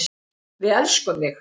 Við elskum þig.